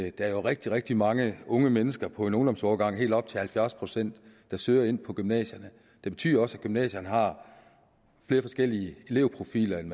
i dag er rigtig rigtig mange unge mennesker på en ungdomsårgang helt op til halvfjerds procent der søger ind på gymnasierne det betyder også at gymnasierne har flere forskellige elevprofiler end